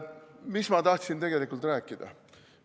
Mida ma tahtsin tegelikult rääkida?